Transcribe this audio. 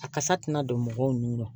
A kasa tɛna don mɔgɔw nun na